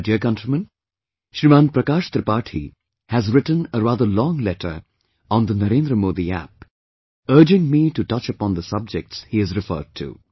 My dear countrymen, Shriman Prakash Tripathi has written a rather long letter on the Narendra Modi App, urging me to touch upon the subjects he has referred to